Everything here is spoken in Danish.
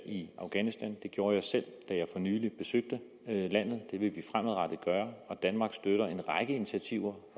i afghanistan det gjorde jeg selv da jeg for nylig besøgte landet det vil vi fremadrettet gøre og danmark støtter en række initiativer